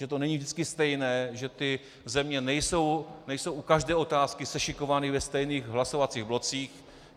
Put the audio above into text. Že to není vždycky stejné, že ty země nejsou u každé otázky sešikovány ve stejných hlasovacích blocích.